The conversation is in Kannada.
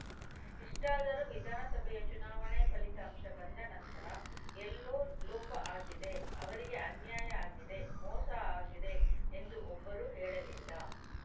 ಇಷ್ಟಾದರೂ ವಿಧಾನಸಭೆಯ ಚುನಾವಣೆ ಫಲಿತಾಂಶ ಬಂದ ನಂತರ ಎಲ್ಲೋ ಲೋಪ ಆಗಿದೆ ಅವರಿಗೆ ಅನ್ಯಾಯ ಆಗಿದೆ ಮೋಸ ಆಗಿದೆ ಎಂದು ಒಬ್ಬರೂ ಹೇಳಲಿಲ್ಲ